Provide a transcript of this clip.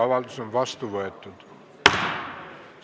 Avaldus on vastu võetud.